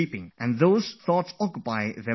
And then they ponder over things they chatted about